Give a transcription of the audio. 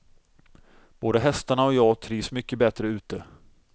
Både hästarna och jag trivs mycket bättre ute.